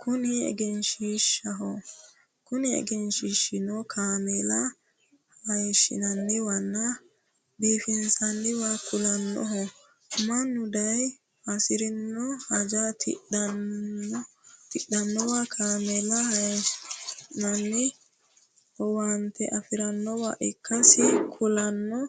kuni egenshiishshaho kuni egesnhiishshino kameela hayeeshshinanniwanmn abiifinsanniwa kulannnohonna mannu daye hasirino haja tidhannownna kameelaho hasiiissanno owaante afirannowa ikkasi kulanno